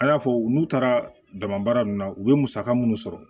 A y'a fɔ n'u taara dama baara ninnu na u bɛ musaka minnu sɔrɔ